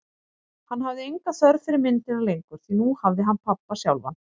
Hann hafði enga þörf fyrir myndina lengur, því nú hafði hann pabba sjálfan.